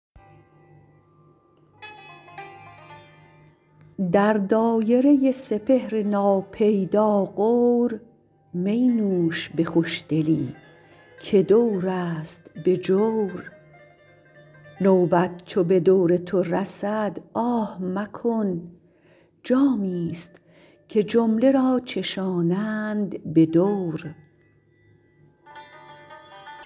در دایره سپهر ناپیدا غور می نوش به خوشدلی که دور است به جور نوبت چو به دور تو رسد آه مکن جامی ست که جمله را چشانند به دور